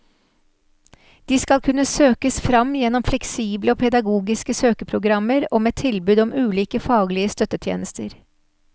De skal kunne søkes fram gjennom fleksible og pedagogiske søkeprogrammer og med tilbud om ulike faglige støttetjenester.